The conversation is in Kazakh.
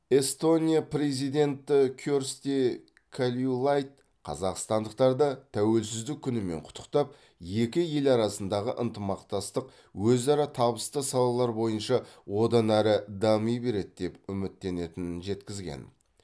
эстония президенті керсти кальюлайд қазақстандықтарды тәуелсіздік күнімен құттықтап екі ел арасындағы ынтымақтастық өзара табысты салалар бойынша одан әрі дами береді деп үміттенетінін жеткізген